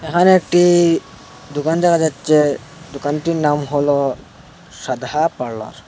আরেকটি দুকান দেখা যাচ্ছে দোকানটির নাম হল সাধা পার্লার ।